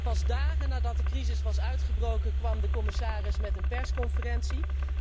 Pas dagen nadat de crisis was uitgebroken kwam de commissaris met een persconferentie.